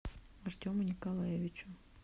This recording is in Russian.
артему николаевичу